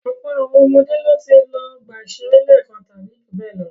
Ọ̀pọ̀ àwọn ọmọdé ló ti lọ ọgbà-ìṣeré lẹ́ẹ̀kan tàbí ju bẹ́ẹ̀ lọ.